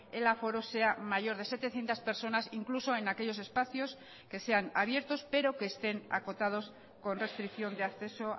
el aforo sea mayor de setecientos personas incluso en aquellos espacios que sean abiertos pero que estén acotados con restricción de acceso